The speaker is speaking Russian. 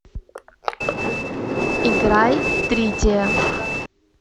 играй тритиа